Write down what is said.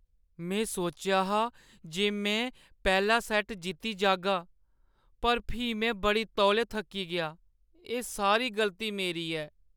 में सोचेआ हा जे में पैह्‌ला सैट्ट जित्ती जाह्‌गा, पर फ्ही में बड़े तौले थक्की गेआ। एह् सारी गलती मेरी ऐ।